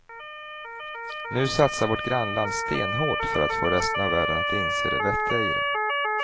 Nu satsar vårt grannland stenhårt för att få resten av världen att inse det vettiga i det.